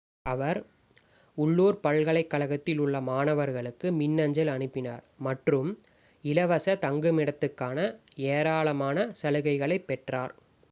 அவர் உள்ளூர் பல்கலைக்கழகத்தில் உள்ள மாணவர்களுக்கு மின்னஞ்சல் அனுப்பினார் மற்றும் இலவச தங்குமிடத்துக்கான ஏராளமான சலுகைகளைப் பெற்றார்